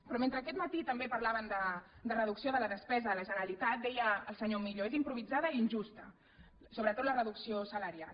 però mentre aquest matí també parlaven de reducció de la despesa de la generalitat deia el senyor millo és improvisada i injusta sobretot la reducció salarial